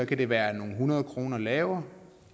kan det være nogle hundrede kroner lavere